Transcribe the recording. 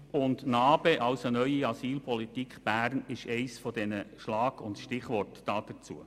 Und die neue Asylpolitik Bern ist eines dieser Schlag- und Stichworte dazu.